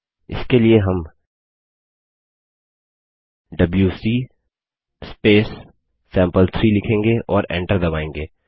इसके लिए हम डबल्यूसी सैंपल3 लिखेंगे और एन्टर दबायेंगे